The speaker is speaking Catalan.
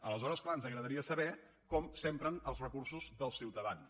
aleshores clar ens agradaria saber com s’empren els recursos dels ciutadans